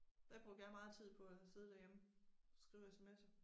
Det brugte jeg meget tid på og sidde derhjemme, skrive SMS'er